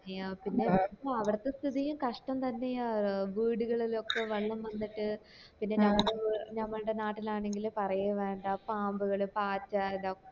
ന്നെയാ പിന്നെ അവിടത്തെ സ്ഥിതിയും കഷ്ടം തന്നെയാ ഏർ വീടുകളില് ക്കെ വെള്ളം വന്നിട്ട് പിന്നെ ഞമ്മടെ നാട്ടിലാണെങ്കി പറയേ വേണ്ട പാമ്പ് കള് പാറ്റ ഇതൊ